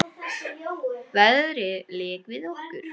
Veðrið lék við okkur.